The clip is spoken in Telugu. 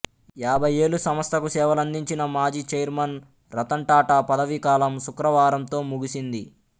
యాభై ఏళ్లు సంస్థకు సేవలందించిన మాజీ ఛైర్మన్ రతన్ టాటా పదవీ కాలం శుక్రవారంతో ముగిసింది